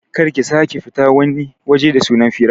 Kar ki sake fita wani waje da sunan fira